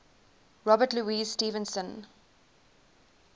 robert louis stevenson